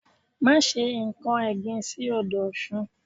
Má se nkan ẹ̀gbin sí odò Ọ̀sun